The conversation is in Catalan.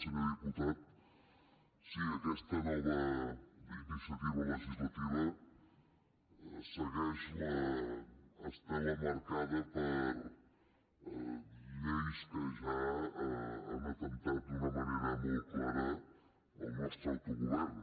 senyor diputat sí aquesta nova iniciativa legislativa segueix l’estela marcada per lleis que ja han atemptat d’una manera molt clara al nostre autogovern